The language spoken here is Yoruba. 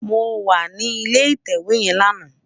Mó wà ni ilé itèwé yèn làná